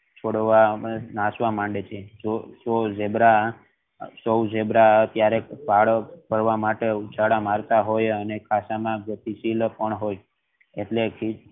છોડવા નાચવા માંડે છે જો ઝીબ્રા ક્યારેક ઉછાળા મારતો હોય અને એટલે કે